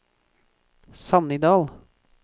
Sannidal